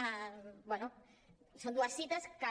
bé són dues cites que